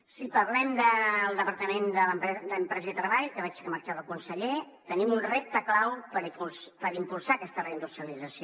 si parlem del departament d’empresa i treball que veig que ha marxat el conseller tenim un repte clau per impulsar aquesta reindustrialització